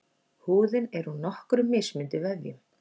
Húðin er úr nokkrum mismunandi vefjum.